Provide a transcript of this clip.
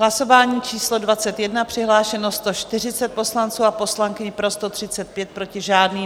Hlasování číslo 21, přihlášeno 140 poslanců a poslankyň, pro 135, proti žádný.